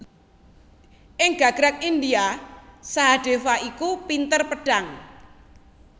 Ing gagrag India Sahadéva iku pinter pedhang